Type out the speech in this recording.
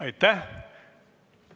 Aitäh!